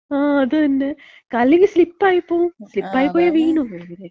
ആ അതന്നെ. അല്ലെങ്കി സ്ലിപ്പായി പോകും. സ്ലിപ്പായി പോയാ വീഴും.